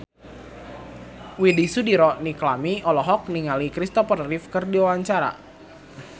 Widy Soediro Nichlany olohok ningali Christopher Reeve keur diwawancara